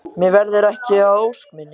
Mér verður ekki að ósk minni.